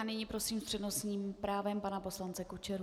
A nyní prosím s přednostním právem pana poslance Kučeru.